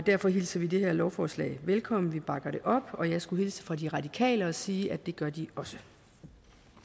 derfor hilser vi det her lovforslag velkommen vi bakker det op og jeg skulle hilse fra de radikale og sige at det gør de også